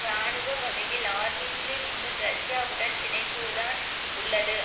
இராணுவ வகையில் ஆர்மீனியா இன்னும் ரஷ்யாவுடன் பிணைந்துதான் உள்ளது